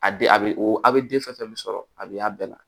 A den a bɛ o a bɛ den fɛn fɛn min sɔrɔ a bɛ a bɛɛ la